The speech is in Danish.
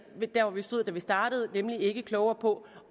der hvor vi stod da vi startede nemlig klogere på